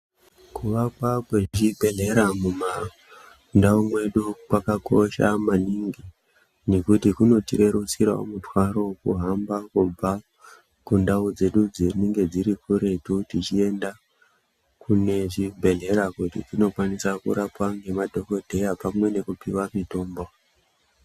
Kuvakwa kwezvibhehlera mumandau mwedu kwakakosha maningi nekuti kunotirerutsirawo mutwaro wokuhamba kubva kundau dzedu dzinenge dziri kuretu tichienda kune zvibhehlera kuti tinokwanisa kurapwa nemadhogodheya pamwe nekupiwa mitombo.